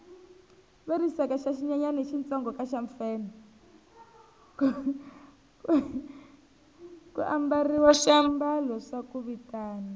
ku ambariwa swiamalo swa ku vitana